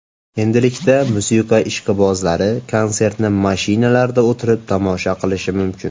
Endilikda musiqa ishqibozlari konsertni mashinalarida o‘tirib tomosha qilishi mumkin.